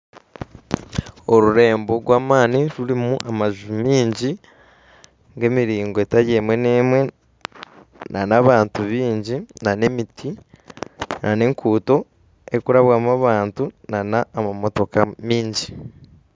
Orurembo rw'amaani rurimu amaju maingi g'emiringo etari emwe n'emwe n'abantu baingi n'emiti n'enguuto erikurabwamu abantu n'amamotoka maingi.